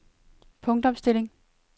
punktopstilling